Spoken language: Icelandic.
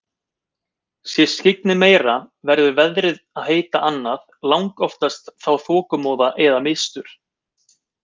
Sé skyggnið meira verður veðrið að heita annað, langoftast þá þokumóða eða mistur.